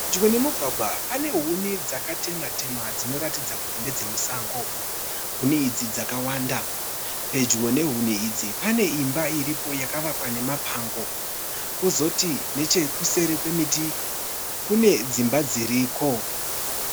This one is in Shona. Pedyo nemugwagwa pane huni dzakatemwa- temwa dzinoratidza kuti ndedzemusango. Huni idzi dzakawanda. Pedyo nehuni idzi pane imba iripo yakavakwa nemapango kwozoti nechekuseri kwemiti kune dzimba dziriko.